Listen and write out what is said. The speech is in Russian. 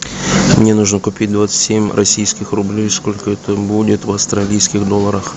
мне нужно купить двадцать семь российских рублей сколько это будет в австралийских долларах